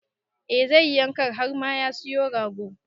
Eh zai yi yanka har ma ya siyo rago.